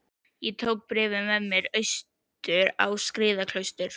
Ég tók bréfið með mér austur á Skriðuklaustur.